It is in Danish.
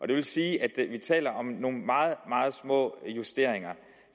det vil sige at vi taler om nogle meget meget små justeringer